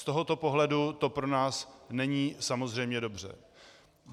Z tohoto pohledu to pro nás není samozřejmě dobře.